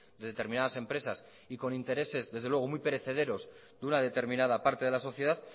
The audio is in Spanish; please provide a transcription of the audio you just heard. de determinadas empresas y con intereses desde luego muy perecederos de una determinada parte de la sociedad